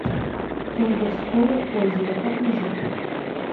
колдовское озеро покажи